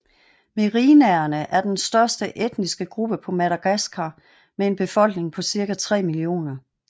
Merinaerne er den største etniske gruppe på Madagaskar med en befolkning på cirka 3 millioner